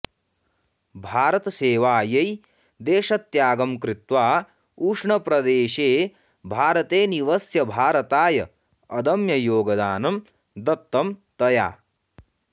भारतसेवायै देशत्यागं कृत्वा उष्णप्रदेशे भारते निवस्य भारताय अदम्ययोगदानं दत्तं तया